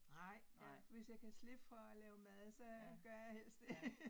Nej jeg hvis jeg kan slippe for at lave mad så gør jeg helst det